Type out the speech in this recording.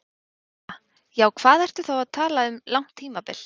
Edda: Já, hvað ertu þá að tala um langt tímabil?